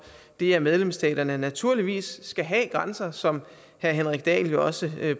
det at medlemsstaterne naturligvis skal have grænser som herre henrik dahl jo også